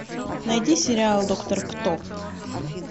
найди сериал доктор кто